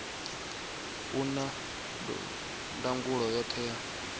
u na ndangulo yoṱhe ya